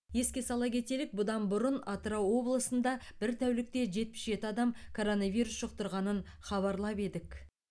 еске сала кетелік бұдан бұрын атырау облысында бір тәулікте жетпіс жеті адам коронавирус жұқтырғанын хабарлап едік